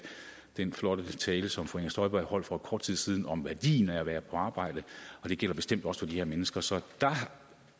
den flotte tale som fru inger støjberg holdt for kort tid siden om værdien af at være på arbejde for det gælder bestemt også for de her mennesker så jeg